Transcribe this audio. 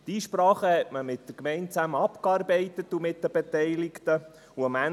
Die Einsprachen arbeitete man zusammen mit der Gemeinde und den Beteiligten ab.